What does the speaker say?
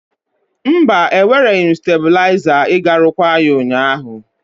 Mba, ewereghị m stebụliazar iga rụkwaa ya ụnyaahụ.